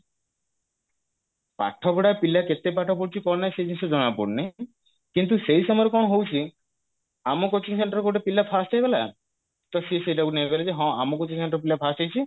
ପାଠ ପଢା ପିଲା କେତେ ପାଠ ପଢୁଛି କଣ ନାଇଁ ସେ ଜିନିଷ ଜଣାପଡୁନି କିନ୍ତୁ ସେଇ ସମୟରେ କଣ ହଉଛି ଆମ coaching centre ରେ ଗୋଟେ ପିଲା first ହେଇଗଲା ତ ସିଏ ସେଇଟାକୁ ନେଇଗଲେ ଯେ ହଁ ଆମ coaching centre ପିଲା first ହେଇଛି